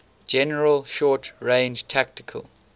general short range tactical